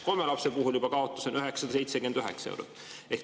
Kolme lapse puhul on kaotus juba 979 eurot.